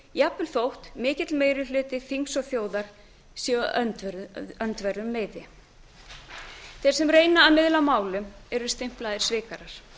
jafnvel þótt mikill meiri hluti þings og þjóðar sé á öndverðum meiði þeir sem reyna að miðla málum eru stimplaðir svikarar